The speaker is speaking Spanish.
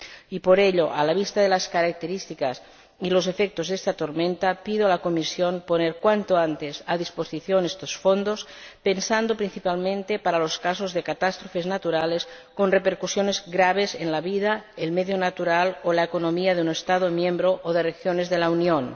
Y por ello, a la vista de las características y los efectos de esta tormenta, pido a la Comisión que ponga cuanto antes a disposición estos fondos, pensados principalmente para los casos de catástrofes naturales con repercusiones graves en la vida, el medio natural o la economía de un Estado miembro o de regiones de la Unión.